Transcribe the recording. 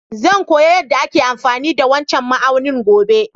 Zan koya yada ake amfani da wancan ma'aunin gobe.